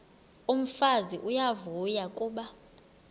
umfazi uyavuya kuba